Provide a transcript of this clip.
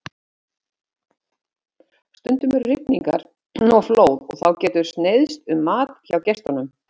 Stundum eru rigningar og flóð og þá getur sneiðst um mat hjá gestunum.